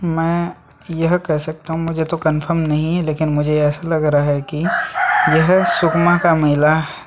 मैं यह कह सकता हूं मुझे तो कंफर्म नहीं है लेकिन मुझे ऐसा लग रहा है कि यह सुकमा का मेला--